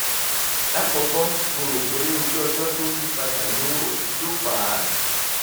lákọ̀ọ́kọ́ mo rò pé ojú ọjọ́ tó ń yí padà ló ló fà á